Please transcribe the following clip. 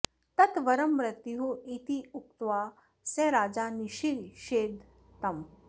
तत् वरं मृत्युः इत्युक्त्वा स राजा निषिषेध तम्